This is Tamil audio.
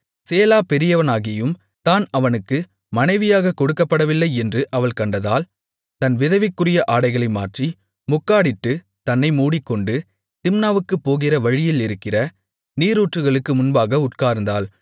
சேலா பெரியவனாகியும் தான் அவனுக்கு மனைவியாகக் கொடுக்கப்படவில்லை என்று அவள் கண்டதால் தன் விதவைக்குரிய ஆடைகளை மாற்றி முக்காடிட்டுத் தன்னை மூடிக்கொண்டு திம்னாவுக்குப் போகிற வழியிலிருக்கிற நீரூற்றுகளுக்கு முன்பாக உட்கார்ந்தாள்